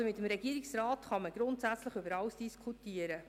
Also, mit dem Regierungsrat kann man grundsätzlich über alles diskutieren.